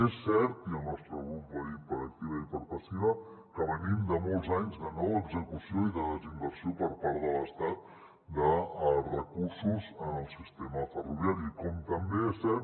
és cert i el nostre grup ho ha dit per activa i per passiva que venim de molts anys de no execució i de desinversió per part de l’estat de recursos en el sistema ferroviari com també és cert